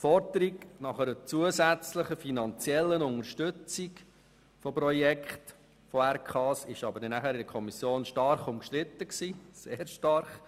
Die Forderung nach einer zusätzlichen finanziellen Unterstützung von Projekten der Regionalkonferenzen war aber dann in der Kommission stark umstritten, sehr stark.